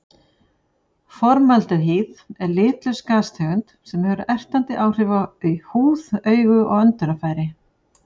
Formaldehýð er litlaus gastegund sem hefur ertandi áhrif á húð, augu og öndunarfæri.